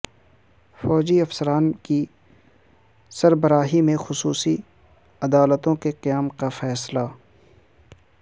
فوجی افسران کی سربراہی میں خصوصی عدالتوں کےقیام کا فیصلہ